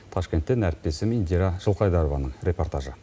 ташкенттен әріптесім индира жылқайдарованың репортажы